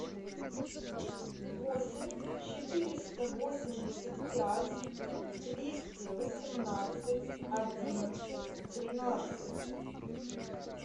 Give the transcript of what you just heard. восемь четыреста восемьдесят пять двести восемнадцать одиннадцать тринадцать